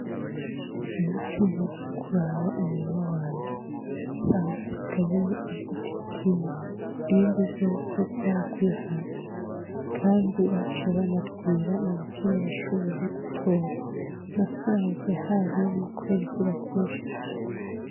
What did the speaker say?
Mu ci naragiye kuraba umurima wanje nsanga hasigayemwo igiti kimwe, ibindi vyose vyaraguye hasi. Kandi baciye banavyiba nta na kimwe nashoboye gutora. Nasanze harumye kubera izuba ryinshi.